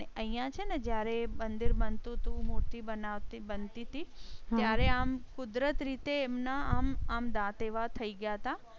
અને અહિયાં છે જ્યારે મંદિર બનતુ હતુ મૂર્તિ બનાવતી બનતી ત્યારે આમ કુદરતી રીતે એમ ના આમ આમ દાત એવા થઈ ગયા હતા